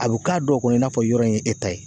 A bɛ k'a dɔw kɔnɔ i n'a fɔ yɔrɔ in ye e ta ye.